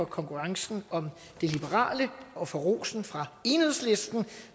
konkurrencen om det liberale og for rosen fra enhedslisten